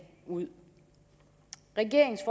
ud regeringens